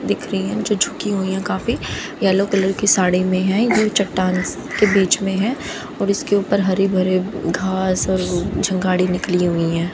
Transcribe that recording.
दिख रही है जो झुकी हुई है काफी येलो कलर की साड़ी में है जो चट्टान के बीच में है और उसके ऊपर हरे भरे घास और झंगाड़ी निकली हुई है।